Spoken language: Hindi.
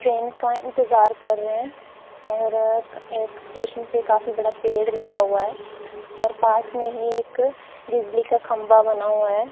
ट्रेन का इंतजार कर रहे हैं और एक स्टेशन पे काफी बड़ा पेड़ लगा हुआ है और पास में ही एक बिजली का खंबा बना हुआ है।